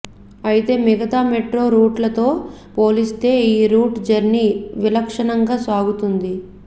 అయితే మిగతా మెట్రో రూట్లతో పోలిస్తే ఈ రూట్ జర్నీ విలక్షణంగా సాగుతోంది